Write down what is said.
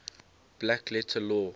black letter law